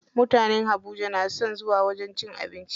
Mutanen Habuja na son zuwa wajen cin abinci.